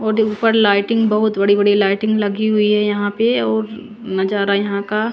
ऊपर लाइटिंग बोहोत बड़ी बड़ी लाइटिंग लगी हुई है और यहाँ पे नज़ारा यहाँ का --